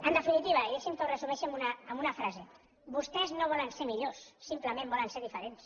en definitiva i deixi’m que ho resumeixi amb una frase vostès no volen ser millors simplement volen ser diferents